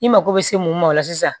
I mako bɛ se mun ma o la sisan